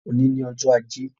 Òní ni ọjọ́ ajé